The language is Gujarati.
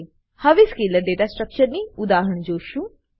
હવે સ્કેલર ડેટા સ્ટ્રક્ચરની ઉદાહરણ જોશું